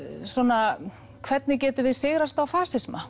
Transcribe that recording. svona hvernig getum við sigrast á fasisma